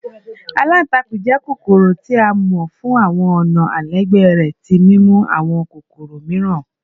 Àlàntàkùn jẹ́ kokoro ti a mọ fun awọn ọna alailẹgbẹ rẹ ti mimu awọn kokoro miiran